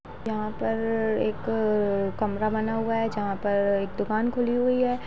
यहाँ पर एक अ कमरा बना हुआ है जहाँ पर एक दुकान खुली हुई है।